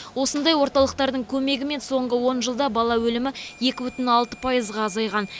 осындай орталықтардың көмегімен соңғы он жылда бала өлімі екі бүтін алты пайызға азайған